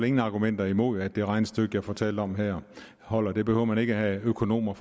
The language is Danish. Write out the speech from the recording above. ingen argumenter imod at det regnestykke jeg fortalte om her holder det behøver man ikke at have økonomer